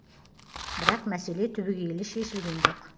бірақ мәселе түбегейлі шешілген жоқ